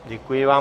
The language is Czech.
Děkuji vám.